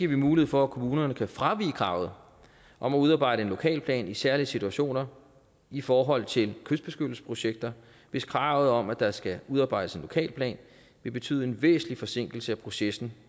vi mulighed for at kommunerne kan fravige kravet om at udarbejde en lokalplan i særlige situationer i forhold til kystbeskyttelsesprojekter hvis kravet om at der skal udarbejdes en lokalplan vil betyde en væsentlig forsinkelse af processen